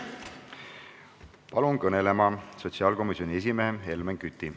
Palun kõnelema sotsiaalkomisjoni esimehe Helmen Küti.